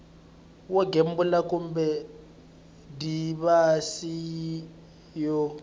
wo gembula kumbe divhayisi yo